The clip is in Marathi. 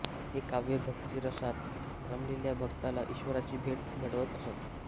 हे काव्य भक्तिरसात रमलेल्या भक्ताला ईश्वराची भेट घडवत असत